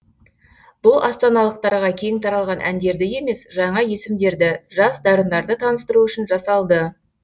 бұл астаналықтарға кең таралған әндерді емес жаңа есімдерді жас дарындарды таныстыру үшін жасалды